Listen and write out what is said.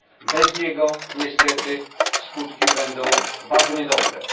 Bez niego niestety skutki będą bardzo opłakane.